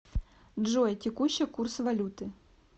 джой текущий курс валюты